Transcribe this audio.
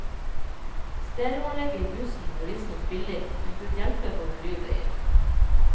Stereoanlegget i bussen var visstnok billig, men gud hjelpe for en lyd det gir.